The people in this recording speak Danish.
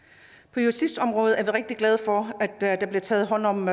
på justitsområdet er vi rigtig glade for at der bliver taget hånd om